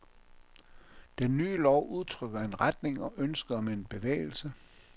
Den nye lov udtrykker en retning og ønsket om en bevægelse.